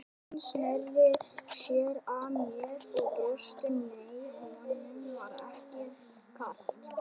Hann sneri sér að mér og brosti, nei, honum var ekkert kalt.